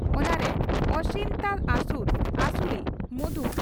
ᱚᱱᱟᱨᱮ ᱚᱥᱤᱱᱛᱟ ᱟᱥᱩᱨ (ᱟᱥᱩᱨᱤ), ᱢᱚᱫᱷᱩ